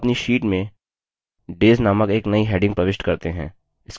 अब अपनी sheet में days named एक now heading प्रविष्ट करते हैं